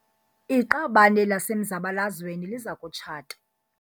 Iqabane lasemzabalazweni liza kutshata.